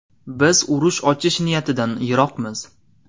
Biz urush ochish niyatidan yiroqmiz.